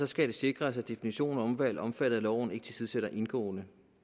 skal det sikres at definitionen af omvalg omfattet af loven ikke tilsidesætter indgåede